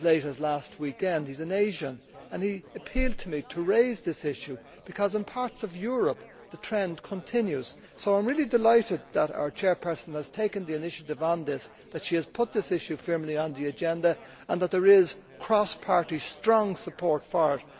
His name is Robin, he is an Asian and he appealed to me to raise this issue because in parts of Europe the trend continues. So I am really delighted that our committee Chair has taken the initiative on this, that she has put this issue firmly on the agenda and that there is strong cross party support for it.